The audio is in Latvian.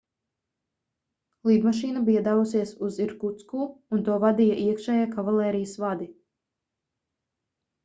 lidmašīna bija devusies uz irkutsku un to vadīja iekšējie kavalērijas vadi